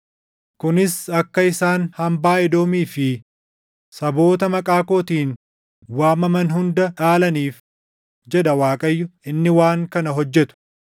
kunis akka isaan hambaa Edoomii fi saboota maqaa kootiin waamaman hunda dhaalaniif” jedha Waaqayyo, inni waan kana hojjetu.